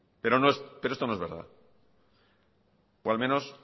pero no es pero esto no es verdad o al menos